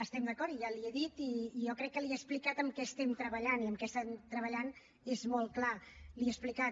estem d’acord i ja li ho he dit i jo crec que li ho he explicat en què estem treballant i en què estem treballant és molt clar li ho he explicat